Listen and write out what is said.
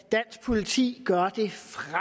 dansk politi gør det